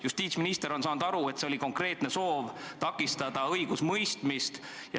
Justiitsminister on saanud aru, et see oli konkreetne soov takistada õigusemõistmist.